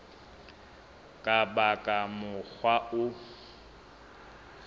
ka ba ka mokgwa wa